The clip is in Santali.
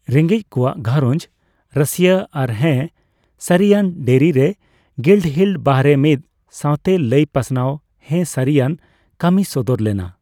ᱨᱮᱜᱮᱡ ᱠᱚᱣᱟᱜ ᱜᱷᱟᱨᱚᱡᱽ ᱨᱟᱹᱥᱭᱟᱹ ᱟᱨ ᱦᱮᱸ ᱥᱟᱹᱨᱤᱭᱟᱱ ᱰᱮᱨᱤ ᱨᱮ ᱜᱤᱞᱰᱦᱤᱞ ᱵᱟᱦᱨᱮ ᱢᱤᱫ ᱥᱟᱣᱛᱮᱞᱟᱹᱭ ᱯᱟᱥᱱᱟᱣ ᱦᱮᱸᱼᱥᱟᱨᱤᱭᱟᱱ ᱠᱟᱹᱢᱤ ᱥᱚᱫᱚᱨ ᱞᱮᱱᱟ ᱾